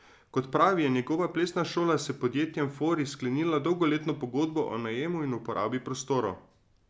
Kot pravi, je njegova plesna šola s podjetjem Fori sklenila dolgoletno pogodbo o najemu in uporabi prostorov.